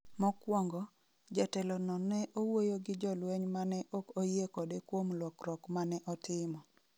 Mokwongo, jatelono ne owuoyo gi jolweny ma ne ok oyie kode kuom lokruok ma ne otimo.